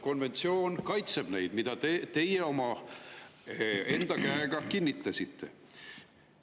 Konventsioon, mille te olete omaenda käega kinnitanud, kaitseb neid.